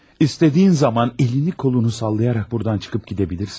İstədiyin zaman əlini qolunu sallayaraq buradan çıxıb gedə bilirsən.